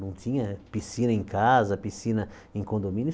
Não tinha piscina em casa, piscina em condomínio.